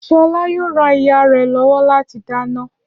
Ṣọlá yóò ran ìyá rẹ̀ lọ́wọ́ lati dáná.